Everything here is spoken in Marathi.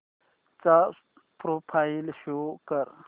चा प्रोफाईल शो कर